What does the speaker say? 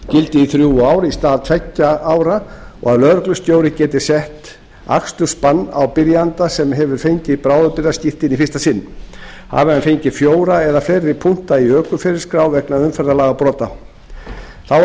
gildi í þrjú ár í stað tveggja ára og að lögreglustjóri geti sett akstursbann á byrjanda sem hefur fengið bráðabirgðaskírteini í fyrsta sinn hafi hann fengið fjóra eða fleiri punkta í ökuferilsskrá vegna umferðarlagabrota þá er